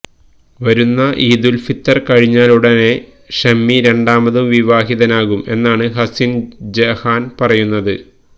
വരുന്ന ഈദുൽ ഫിത്വർ കഴിഞ്ഞാലുടനെ ഷമി രണ്ടാമതും വിവാഹിതനാകും എന്നാണ് ഹസിൻ ജഹാൻ പറയുന്നത്